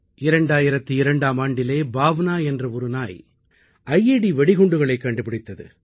2002ஆம் ஆண்டிலே பாவ்னா என்ற ஒரு நாய் ஐட் வெடிகுண்டுகளைக் கண்டுபிடித்தது